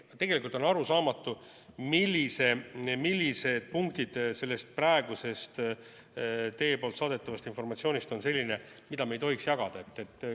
Tegelikult on arusaamatu, millised punktid sellest praegusest teie saadetavast informatsioonist on sellised, mida me ei tohiks jagada.